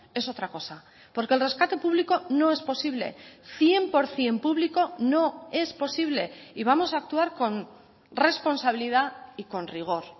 es otra cosa porque el rescate público no es posible cien por ciento público no es posible y vamos a actuar con responsabilidad y con rigor